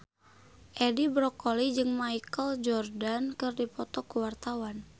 Edi Brokoli jeung Michael Jordan keur dipoto ku wartawan